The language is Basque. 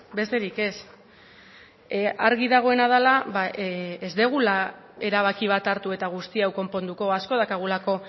besterik ez argi dagoena dela ez dugula erabaki bat hartu eta guzti hau konponduko asko daukagulako